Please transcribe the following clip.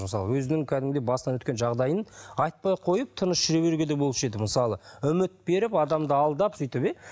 мысалы өзінің кәдімгідей басынан өткен жағдайын айтпай қойып тыныш жүре беруге де болушы еді мысалы үміт беріп адамды алдап сөйтіп иә